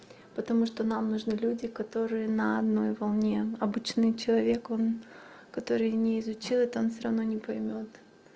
потому что нам нужны люди которые на одной волне обычный человек он который не изучил это он всё равно не поймёт